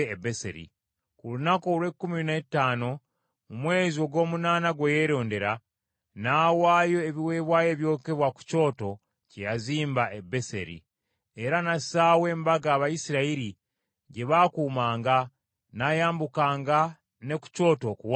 Ku lunaku olw’ekkumi n’ettaano mu mwezi ogw’omunaana gwe yeerondera, n’awaayo ebiweebwayo ebyokebwa ku kyoto kye yazimba e Beseri. Era n’assaawo embaga Abayisirayiri gye baakuumanga, n’ayambukanga ne ku kyoto okuwaayo ebyokebwa.